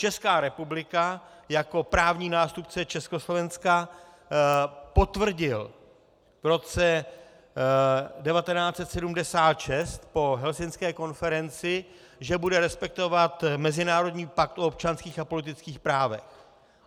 Česká republika jako právní nástupce Československa potvrdila v roce 1976 po helsinské konferenci, že bude respektovat mezinárodní pakt o občanských a politických právech.